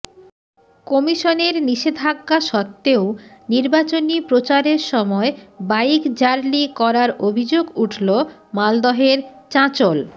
কমিশনের নিষেধাজ্ঞা সত্ত্বেও নির্বাচনী প্রচারের সময় বাইক র্যালি করার অভিযোগ উঠল মালদহের চাঁচল